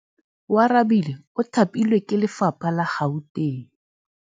Oarabile o thapilwe ke lephata la Gauteng.